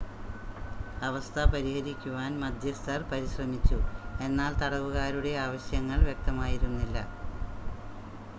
അവസ്ഥ പരിഹരിക്കുവാൻ മദ്ധ്യസ്ഥർ പരിശ്രമിച്ചു എന്നാൽ തടവുകാരുടെ ആവശ്യങ്ങൾ വ്യക്തമായിരുന്നില്ല